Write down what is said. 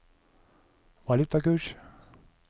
valutakurs